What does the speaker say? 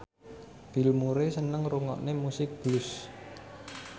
Bill Murray seneng ngrungokne musik blues